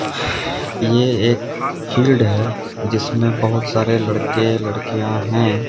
ये एक फील्ड है जिसमे बहुत सारे लड़के लड़कियां है।